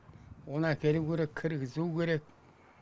оны әкелу керек кіргізу керек